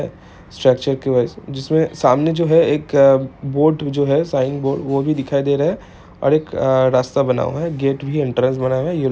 जिसमे सामने जो है एक बोर्ड जो है साइन बोर्ड वो भी दिखाई दे रहा है और एक रस्ता बना है जोकि एंट्रेंस बना है येलो कलर का--